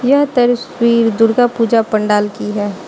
यह तस्वीर दुर्गा पूजा पंडाल की है।